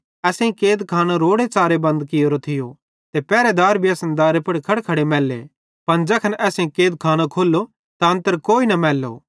असेईं कैदखानो रोड़ेच़ारे बंद कियोरी थियो ते पेरहेदार भी असन दारे मां खड़खड़े मैल्ले पन ज़ैखन असेईं कैदखानो खोल्लो त अन्तर कोई न मैल्लो